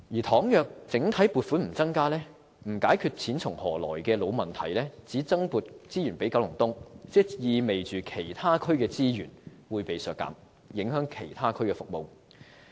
倘若整體撥款不增加，不解決錢從何來的老問題，而只增撥資源予九龍東，意味着其他區的資源會被削減，影響其他區的服務。